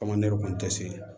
kun tɛ se